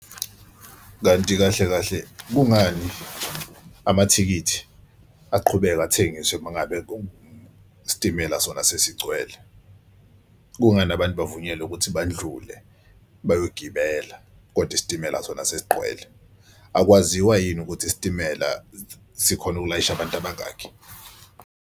Kanti kahle kahle kungani amathikithi aqhubeke athengiswe uma ngabe isitimela sona sesigcwele? Kungasiza nabantu bavunyelwe ukuthi badlule bayogibela koda isitimela sona sesiqwele? Akwaziwa yini ukuthi isitimela sikhone ukulayisha abantu abangakhi?